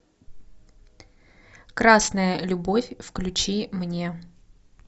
красная любовь включи мне